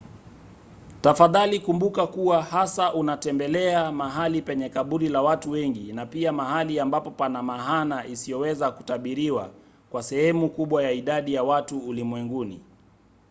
tafadhali kumbuka kuwa hasa unatembelea mahali penye kaburi la watu wengi na pia mahali ambapo pana maana isiyoweza kutabiriwa kwa sehemu kubwa ya idadi ya watu ulimwenguni